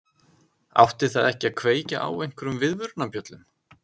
Átti það ekki að kveikja á einhverjum viðvörunarbjöllum?